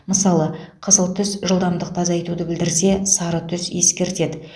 мысалы қызыл түс жылдамдықты азайтуды білдірсе сары түс ескертеді